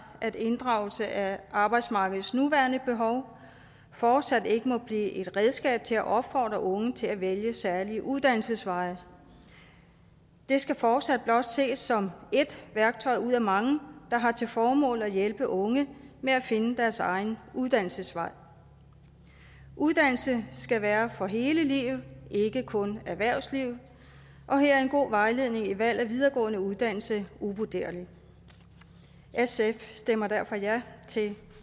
at inddragelse af arbejdsmarkedets nuværende behov fortsat ikke må blive et redskab til at opfordre unge til at vælge særlige uddannelsesveje det skal fortsat blot ses som ét værktøj ud af mange der har til formål at hjælpe unge med at finde deres egen uddannelsesvej uddannelse skal være for hele livet ikke kun erhvervslivet og her er en god vejledning i valg af videregående uddannelse uvurderlig sf stemmer derfor ja til